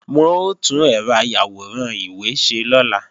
Wọ́n ó tún ẹ̀rọ ayàwòrán ìwé ṣe lọ́la